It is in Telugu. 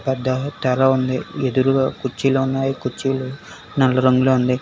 బట్ట తెర ఉంది ఎదురుగా కుర్చీలు ఉన్నాయి కుర్చీలు నల్ల రంగులో ఉంది.